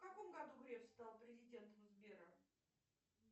в каком году греф стал президентом сбера